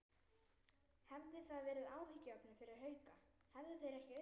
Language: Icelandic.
Hefði það verið áhyggjuefni fyrir Hauka, hefðu þeir ekki unnið?